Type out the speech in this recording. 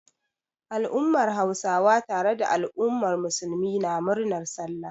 Al'ummar Hausawa tare da al'ummar Musulmi na murnar Sallah.